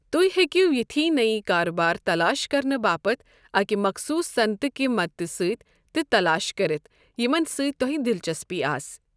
تُہۍ ہٮ۪کِو یِتھۍ نٔیۍ کاربار تلاش کرنہٕ باپتھ اکِہ مخصوٗص صنعت کِہ مدتہٕ سۭتۍ تہِ تلاش کٔرِتھ یِمن سۭتۍ تۄہہِ دلچسپی آسہِ۔